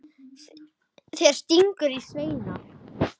Það tístir í Svenna.